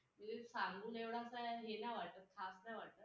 आयोगाची आयोगाची सदस्यांची पात्रता व निवड पद्धत कशी असावी हा अधिकार पूर्ण संवसदेला आहे.